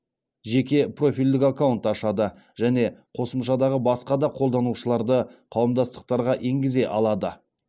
жеке профильдік аккаунт ашады және қосымшадағы басқа да қолданушыларды қауымдастықтарға енгізе алады